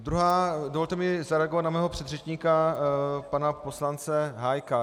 Ale dovolte mi zareagovat na mého předřečníka pana poslance Hájka.